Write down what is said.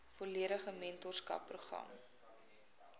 volledige mentorskap program